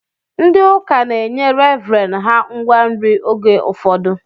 Ndị ụka na-enye revren ha ngwa nri oge ụfọdụ